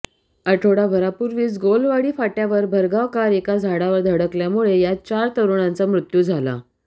आठवडाभरापुर्वीच गोलवाडी फाट्यावर भरधाव कार एका झाडावर धडकल्यामुळे यात चार तरुणांचा मृत्यू झाला